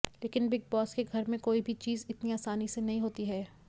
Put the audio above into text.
लेकिन Bigg Boss के घर में कोई भी चीज़ इतनी आसानी से नहीं होती है